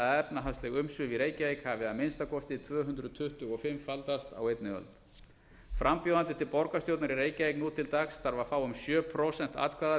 efnahagsleg umsvif í reykjavík hafi að minnsta kosti tvö hundruð tuttugu og fimm faldast á einni öld frambjóðandi til borgarstjórnar í reykjavík nú til dags þarf að fá um sjö prósent atkvæða